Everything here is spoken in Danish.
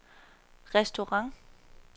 restaurant